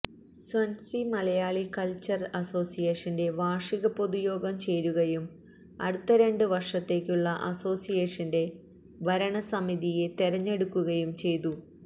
Swansea Malayali cultural അസോസിയേഷന്റെ വാര്ഷിക പൊതുയോഗം ചേരുകയും അടുത്ത രണ്ട് വര്ഷത്തേയ്ക്കുള്ള അസോസിയേഷന്റെ ഭരണസമിതിയെ തെരഞ്ഞെടുക്കുകയും ചെയ്തു